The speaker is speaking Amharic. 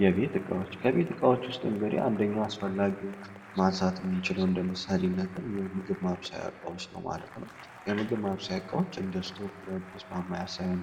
የቤት እቃዎች ከቤት ዕቃዎች ውስጥ አንደኛው አስፈላጊ ነገር እንደ ምሳሌ የምግብ ማብሰያ ብረት ድስት ማማሰያ ነው